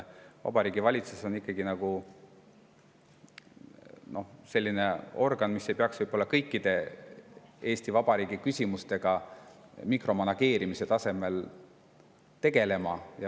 Vabariigi Valitsus on ikkagi selline organ, kes ei peaks kõikide Eesti Vabariigi küsimustega mikromanageerimise tasemel tegelema.